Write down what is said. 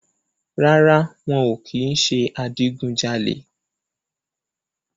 Rárá, wọn ò kì ń ṣe adigun jalè